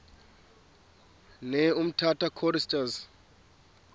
ne umtata choristers